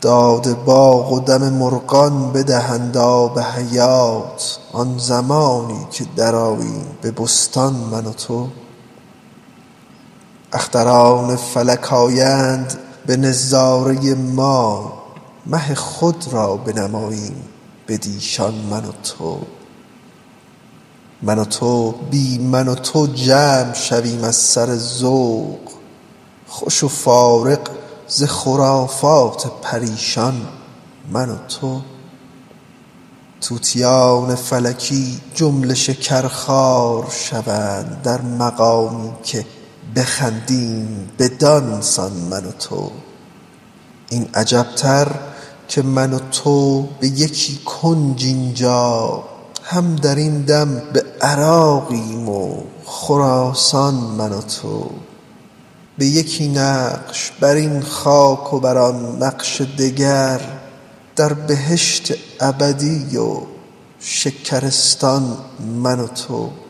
داد باغ و دم مرغان بدهد آب حیات آن زمانی که درآییم به بستان من و تو اختران فلک آیند به نظاره ما مه خود را بنماییم بدیشان من و تو من و تو بی من و تو جمع شویم از سر ذوق خوش و فارغ ز خرافات پریشان من و تو طوطیان فلکی جمله شکرخوار شوند در مقامی که بخندیم بدان سان من و تو این عجب تر که من و تو به یکی کنج این جا هم در این دم به عراقیم و خراسان من و تو به یکی نقش بر این خاک و بر آن نقش دگر در بهشت ابدی و شکرستان من و تو